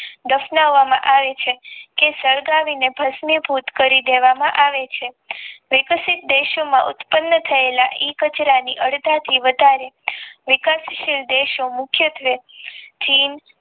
દર્શાવામાં આવે છે કે સળગાવીને ભષ્મ ભૂત કરી દેવામાં આવે છે વઇપ્સિત દેશો માં એ વિકતશીલ દેશો મુખ્યત્વે